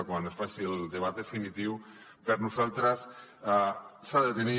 quan es faci el debat definitiu per nosaltres s’ha de tenir